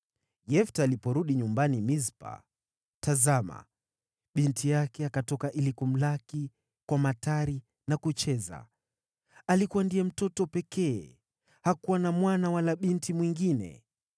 Yefta aliporudi nyumbani Mispa, tazama, binti yake akatoka ili kumlaki kwa matari na kucheza. Alikuwa ndiye mtoto pekee, hakuwa na mwana wala binti mwingine.